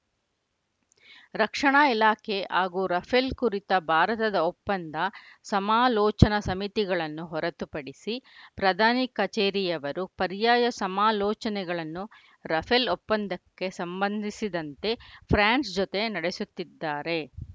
ರಕ್ಷಣಾ ಇಲಾಖೆ ಹಾಗೂ ರಫೇಲ್‌ ಕುರಿತ ಭಾರತದ ಒಪ್ಪಂದ ಸಮಾಲೋಚನಾ ಸಮಿತಿಗಳನ್ನು ಹೊರತುಪಡಿಸಿ ಪ್ರಧಾನಿ ಕಚೇರಿಯವರು ಪರ್ಯಾಯ ಸಮಾಲೋಚನೆಗಳನ್ನು ರಫೇಲ್‌ ಒಪ್ಪಂದಕ್ಕೆ ಸಂಬಂಧಿಸಿದಂತೆ ಫ್ರಾನ್ಸ್‌ ಜತೆ ನಡೆಸುತ್ತಿದ್ದಾರೆ